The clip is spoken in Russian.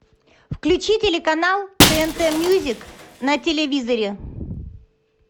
включи телеканал тнт мьюзик на телевизоре